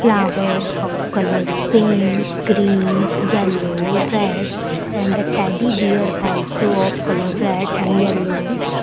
Flowers of colour pink green yellow red and the teddy bear also of colour red and yellow --